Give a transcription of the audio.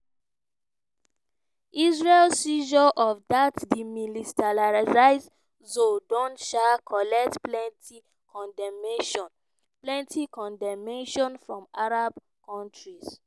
israel seizure of dat demilitarised zone don um collect plenti condemnation plenti condemnation from arab kontris.